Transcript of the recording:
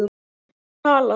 Hver talar?